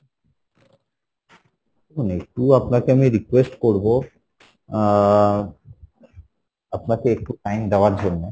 একটু আপনাকে আমি request করবো আহ আপনাকে একটু time দেওয়ার জন্যে,